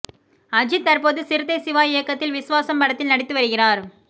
அஜித் தற்போது சிறுத்தை சிவா இயக்கத்தில் விஸ்வாசம் படத்தில் நடித்து வருகிறார்